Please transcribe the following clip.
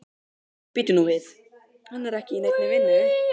Bíddu nú við, hann er ekki í neinni vinnu?